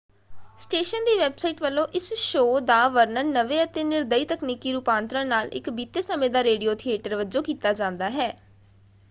Station ਦੀ website ਵੱਲੋਂ ਇਸ ਸ਼ੋਅ ਦਾ ਵਰਣਨ ਨਵੇਂ ਅਤੇ ਨਿਰਦਈ ਤਕਨੀਕੀ ਰੂਪਾਂਤਰਨ ਨਾਲ ਇੱਕ ਬੀਤੇ ਸਮੇਂ ਦਾ ਰੇਡੀਓ ਥੀਏਟਰ” ਵਜੋਂ ਕੀਤਾ ਜਾਂਦਾ ਹੈ।